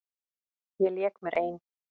Ég lék mér ein.